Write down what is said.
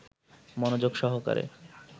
মনযোগ সহকারে